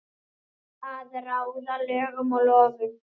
Að ráða lögum og lofum.